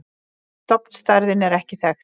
Stofnstærðin er ekki þekkt.